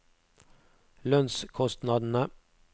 lønnskostnadene